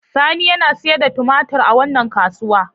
Sani yana sayar da tumatir a wannan kasuwa.